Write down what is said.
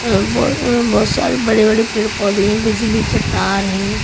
अ बहुत अ बहुत सारे बड़े-बड़े पेड़ पौधे हैं बिजली के तार हैं।